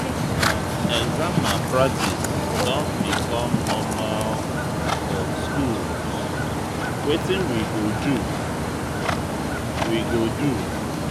Exam malpractice don become normal for schools; wetin we go do? we go do?